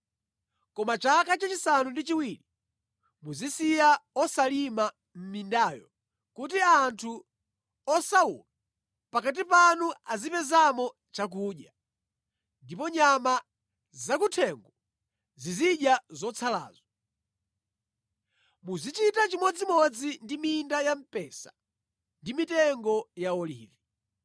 Koma chaka chachisanu ndi chiwiri muzisiya osalima mindayo kuti anthu osauka pakati panu azipezamo chakudya, ndipo nyama zakuthengo zizidya zotsalazo. Muzichita chimodzimodzi ndi minda ya mpesa ndi mitengo ya olivi.